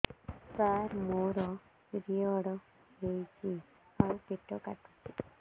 ସାର ମୋର ପିରିଅଡ଼ ହେଇଚି ଆଉ ପେଟ କାଟୁଛି